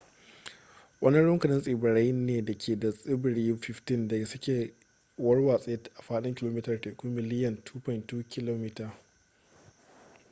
wani rukunin tsibirai ne da ke da tsibirai 15 da suke warwatse a faɗin kilomitar teku miliyan 2.2 km2